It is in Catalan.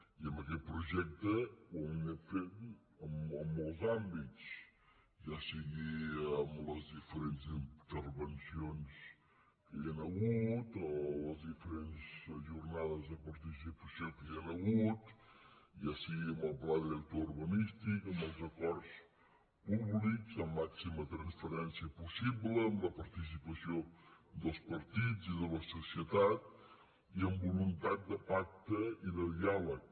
i en aquest projecte ho hem anat fent en molts àm·bits ja sigui en les diferents intervencions que hi han hagut o en les diferents jornades de participació que hi han hagut ja sigui amb el pla director urbanístic amb els acords públics amb la màxima transparèn·cia possible amb la participació dels partits i de la societat i amb voluntat de pacte i de diàleg